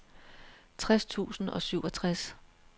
tres tusind og syvogtres